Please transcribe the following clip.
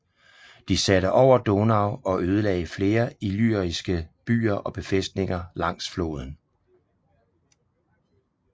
De satte over Donau og ødelagde flere illyriske byer og befæstninger langs floden